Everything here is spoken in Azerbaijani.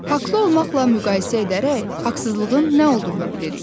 Haqlı olmaqla müqayisə edərək, haqsızlığın nə olduğunu bilirik.